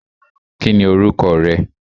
Kí ni orúkọ rẹ?